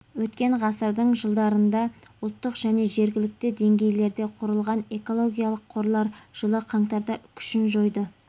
өткен ғасырдың жылдарында ұлттық және жергілікті деңгейлерде құрылған экологиялық қорлар жылы қаңтарда күшін жойды